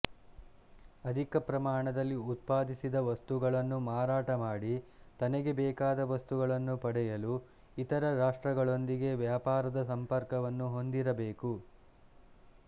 ಅಧಿಕ ಪ್ರಮಾಣದಲ್ಲಿ ಉತ್ಪಾದಿಸಿದ ವಸ್ತುಗಳನ್ನು ಮಾರಾಟ ಮಾಡಿ ತನಗೆ ಬೇಕಾದ ವಸ್ತುಗಳನ್ನು ಪಡೆಯಲು ಇತರ ರಾಷ್ಟ್ರಗಳೊಂದಿಗೆ ವ್ಯಾಪಾರದ ಸಂಪರ್ಕವನ್ನು ಹೊಂದಿರಬೇಕು